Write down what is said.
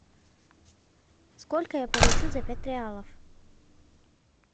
сколько я получу за пять реалов